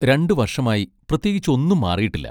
രണ്ട് വർഷമായി പ്രത്യേകിച്ച് ഒന്നും മാറിയിട്ടില്ല.